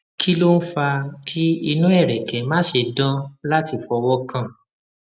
kí ló ń fa kí inu ereke mase dan lati fowokan